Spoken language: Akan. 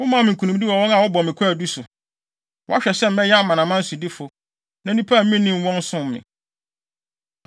“Womaa me nkonimdi wɔ wɔn a wɔbɔ me kwaadu so. Woahwɛ sɛ mɛyɛ amanaman sodifo; na nnipa a minnim wɔn som me.